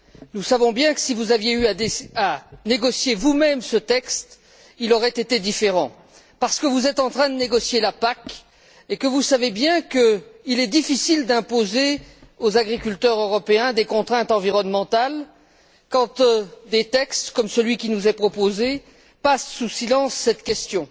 Nous savons bien que si vous aviez eu à négocier vous même ce texte, il aurait été différent, parce que vous êtes en train de négocier la PAC et que vous savez bien qu'il est difficile d'imposer aux agriculteurs européens des contraintes environnementales quand des textes comme celui qui nous est proposé passent sous silence cette question.